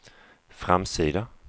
framsida